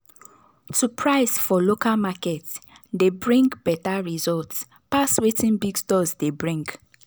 to price for local market dey bring better result pass wetin big stores dey bring.